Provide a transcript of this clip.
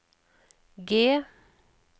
G